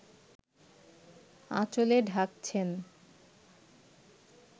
আঁচলে ঢাকছেন